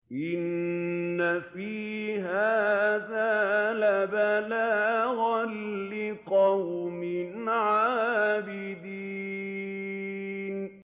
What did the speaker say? إِنَّ فِي هَٰذَا لَبَلَاغًا لِّقَوْمٍ عَابِدِينَ